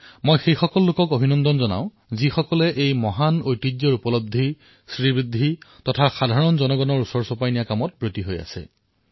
মই সেই সকলো লোকক অভিনন্দন জনাইছোঁ যিয়ে এই মহান ধৰোহৰক প্ৰতিপালন কৰি জনসাধাৰণৰ কাষলৈ লৈ গৈছে